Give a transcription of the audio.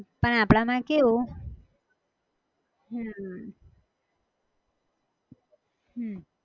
પણ આપણા માં કેવું હમ હમ